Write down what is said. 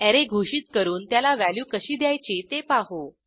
array घोषित करून त्याला व्हॅल्यू कशी द्यायची ते पाहू